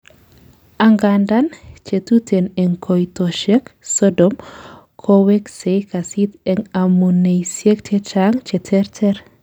angandan, chetuten en koitoshek Sodom koweksei kasit en amuneisiek chechang cheterter